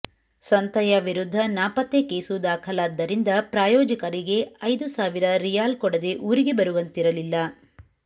ಸಂತಯ್ಯ ವಿರುದ್ಧ ನಾಪತ್ತೆ ಕೇಸು ದಾಖಲಾದ್ದರಿಂದ ಪ್ರಾಯೋಜಕರಿಗೆ ಐದು ಸಾವಿರ ರಿಯಾಲ್ ಕೊಡದೆ ಊರಿಗೆ ಬರುವಂತಿರಲಿಲ್ಲ